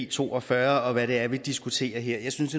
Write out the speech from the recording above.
to og fyrre og hvad det er vi diskuterer her jeg synes